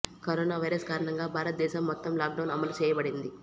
corona virus కారణంగా భారతదేశం మొత్తం లాక్ డౌన్ అమలు చేయబడింది